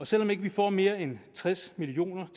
selv om ikke vi får mere end tres million